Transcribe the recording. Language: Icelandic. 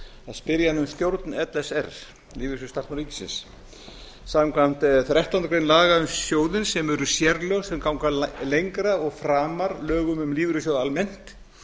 spyrja hana um stjórn l s r lífeyrissjóð starfsmanna ríkisins samkvæmt þrettándu grein laga um sjóðinn sem eru sérlög sem ganga lengra og framar lögum um lífeyrissjóð almennt